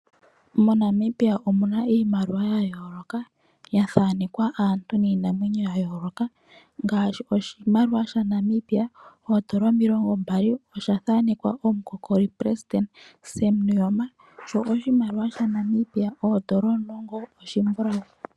MoNamibia omu na iimaliwa ya yooloka ya thanekwa aantu niinamwenyo ya yooloka ngaashi oshimaliwa shaNamibia oodola omilongombali osha thanekwa omukokolipelesidente Sam Nuujoma, sho oshimaliwa shaNamibia oodola omulongo oshimbulawu.